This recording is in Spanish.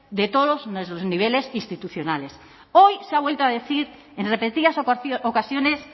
de todos los niveles institucionales hoy se ha vuelto a decir en repetidas ocasiones